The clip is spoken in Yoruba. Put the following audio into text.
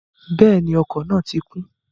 Bẹ́ẹ̀ni, ọkọ̀ náà ti kún